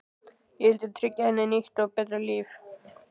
Ég vildi tryggja henni nýtt og betra líf.